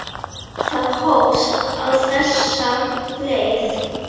Það hófst á þessa leið.